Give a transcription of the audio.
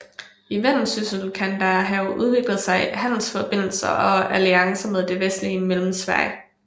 I Vendsyssel kan der have udviklet sig handelsforbindelser og alliancer med det vestlige Mellemsverige